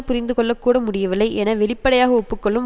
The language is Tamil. புரிந்து கொள்ள கூட முடியவில்லை என வெளிப்படையாக ஒப்பு கொள்ளும்